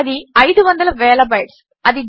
అది అయిదు వందల వేల బైట్స్